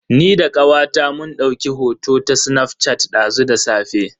Ni da kawata mun dauki hoto ta snaf shat dazu da safe.